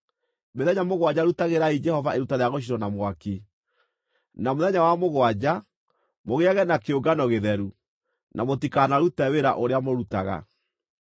Mĩthenya mũgwanja rutagĩrai Jehova iruta rĩa gũcinwo na mwaki. Na mũthenya wa mũgwanja, mũgĩage na kĩũngano gĩtheru, na mũtikanarute wĩra ũrĩa mũrutaga.’ ”